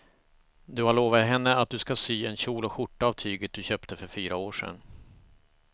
Du har lovat henne att du ska sy en kjol och skjorta av tyget du köpte för fyra år sedan.